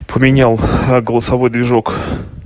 поменял голосовой движок